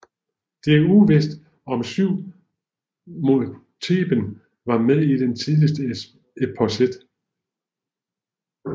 Det er uvist om syv mod Theben var med i den tidligste eposset